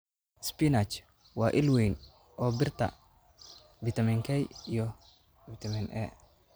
Spinach: Waa il weyn oo birta, fitamiin K, iyo A.